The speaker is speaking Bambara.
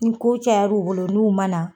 Ni ko caya u bolo n'u ma na